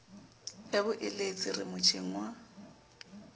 ya boeletsi re motjheng wa